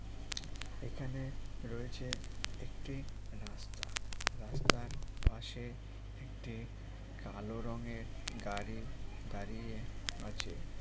এখানে রয়েছে একটি রাস্তা রাস্তার পাশে একটি কালো রঙের গাড়ি দাঁড়িয়ে আছে।